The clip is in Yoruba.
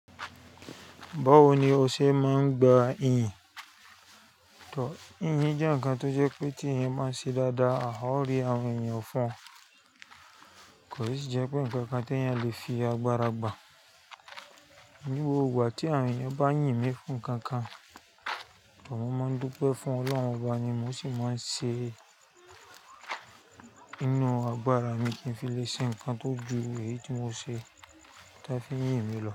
Báwo ni o ṣe máa ń gba iyìn? Tò, iyìn jẹ́ ǹkan tó jẹ́ pé tí èèyàn máa ṣe dáadáa, a ó rí àwọn èèyàn fún un. Kò sì jẹ́ pé ǹkan kan tí èèyàn lè fi agbára gbà. Ní gbogbo ìgbà tí àwọn èèyàn bá yìn mí fún ǹkan kan, tò mọ́ máa ń dúpẹ́ fún Ọlọ́run wa ni mo sì máa ń ṣe inú agbára mi kí n fi lè ṣe ǹkan tó ju èyí tí mo ṣe táan fi yìn mí lọ.